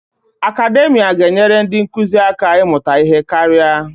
Akademia ga-enyere ndị nkụzi aka ịmụta ihe karịa.